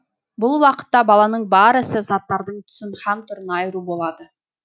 бұл уақытта баланың бар ісі заттардың түсін һәм түрін айыру болады